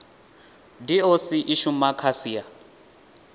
doc i shuma kha sia